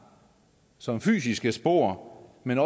som fysiske spor men